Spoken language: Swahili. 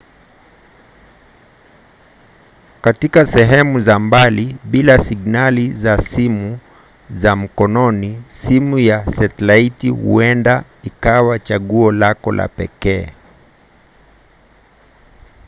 katika sehemu za mbali bila signali za simu za mkononi simu ya setilaiti huenda ikawa chaguo lako la pekee